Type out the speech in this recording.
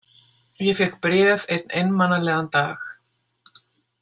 Ég fékk bréf einn einmanalegan dag.